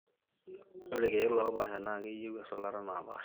ore ilkiek loopasha na keyieu esulata napaasha